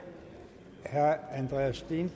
sådan